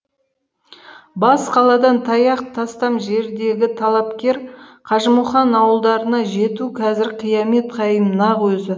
бас қаладан таяқ тастам жердегі талапкер қажымұқан ауылдарына жету қазір қиямет қайым нақ өзі